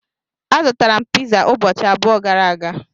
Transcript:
Azụtara m piza ụbọchị abụọ gara aga.